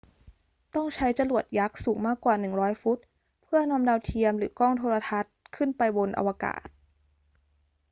ต้องใช้จรวดยักษ์สูงมากกว่า 100 ฟุตเพื่อนำดาวเทียมหรือกล้องโทรทรรศน์ขึ้นไปบนอวกาศ